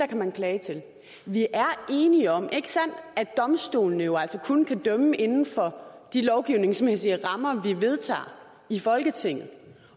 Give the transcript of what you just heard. kan man klage til vi er enige om ikke sandt at domstolene jo altså kun kan dømme inden for de lovgivningsmæssige rammer vi vedtager i folketinget